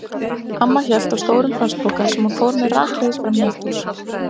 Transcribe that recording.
Amma hélt á stórum plastpoka sem hún fór með rakleiðis fram í eldhús.